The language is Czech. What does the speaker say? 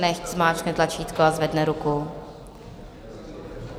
Nechť zmáčkne tlačítko a zvedne ruku.